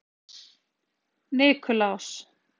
Nikulás